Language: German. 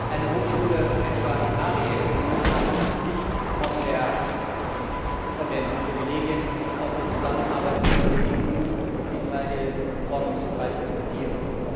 Eine Hochschule etwa in Ariel kann nicht von den Privilegien aus der Zusammenarbeit zwischen der EU und Israel im Forschungsbereich profitieren.